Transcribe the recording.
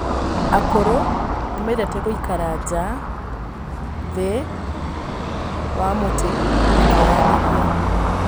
Akũrũ nĩ mendete gũikara nja thĩ wa mũtĩ makĩaranĩria.